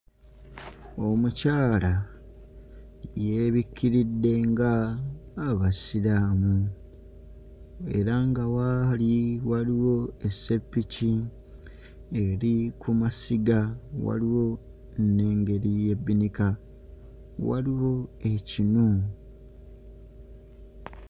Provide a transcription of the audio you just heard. Omukyala yeebikkiridde ng'Abasiraamu era nga w'ali waliwo esseppiki eri ku masiga waliwo n'engeri y'ebbinika waliwo ekinu.